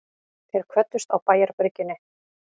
Þeir kvöddust á bæjarbryggjunni.